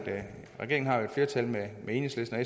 flertal med enhedslisten og